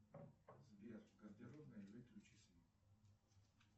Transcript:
сбер в гардеробной выключи свет